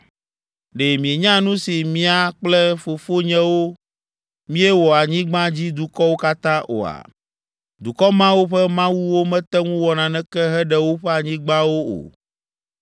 “Ɖe mienya nu si mía kple fofonyewo míewɔ anyigbadzidukɔwo katã oa? Dukɔ mawo ƒe mawuwo mete ŋu wɔ naneke heɖe woƒe anyigbawo o.